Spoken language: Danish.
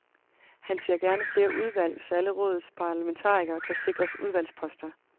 Han ser gerne flere udvalg, så alle rådets parlamentarikere kan sikres udvalgsposter.